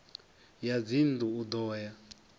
ya dzinnḓu u ḓo ya